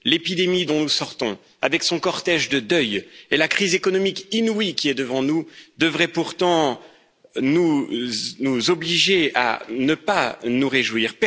L'épidémie dont nous sortons, avec son cortège de deuils, et la crise économique inouïe qui est devant nous devraient pourtant nous obliger à ne pas nous réjouir.